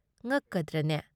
ꯉꯛꯀꯗ꯭ꯔꯅꯦ ?